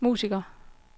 musikere